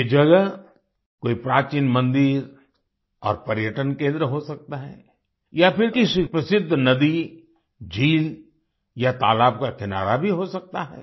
ये जगह कोई प्राचीन मंदिर और पर्यटन केंद्र हो सकता है या फिर किसी प्रसिद्ध नदी झील या तालाब का किनारा भी हो सकता है